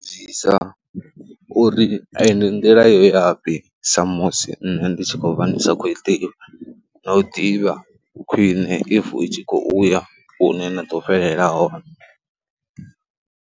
Vhudzisa uri eyo ndi nḓila yo ya fhi sa musi nṋe ndi tshi khou vha ndi sa khou i ḓivha na u ḓivha khwiṋe if i tshi khou ya hune na ḓo fhelela hone.